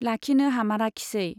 लाखिनो हामाराखिसै।